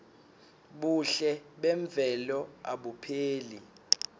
buhle memvelo abupheli